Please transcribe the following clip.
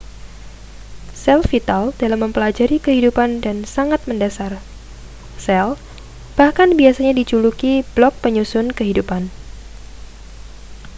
sel vital dalam mempelajari kehidupan dan sangat mendasar sel bahkan biasanya dijuluki blok penyusun kehidupan